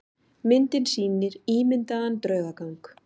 Myndin sýnir ímyndaðan draugagang.